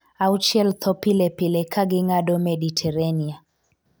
auchiel tho pile pile kaging'ado Meditarenia